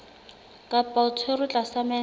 kapa o tshwerwe tlasa mental